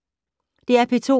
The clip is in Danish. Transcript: DR P2